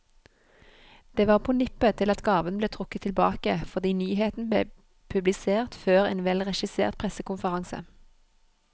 Det var på nippet til at gaven ble trukket tilbake, fordi nyheten ble publisert før en velregissert pressekonferanse.